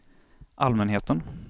allmänheten